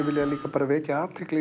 bara vekja athygli